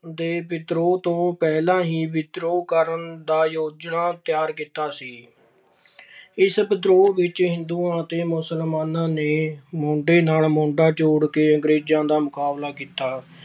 ਦੇ ਵਿਦਰੋਹ ਤੋਂ ਪਹਿਲਾਂ ਹੀ ਵਿਦਰੋਹ ਕਰਨ ਦਾ ਯੋਜਨਾ ਤਿਆਰ ਕੀਤਾ ਸੀ। ਇਸ ਵਿਦਰੋਹ ਵਿੱਚ ਹਿੰਦੂਆਂ ਅਤੇ ਮੁਸਲਮਾਨਾਂ ਨੇ ਮੋਢੇ ਨਾਲ ਮੋਢਾ ਜੋੜ ਕੇ ਅੰਗਰੇਜ਼ਾਂ ਦਾ ਮੁਕਾਬਲਾ ਕੀਤਾ।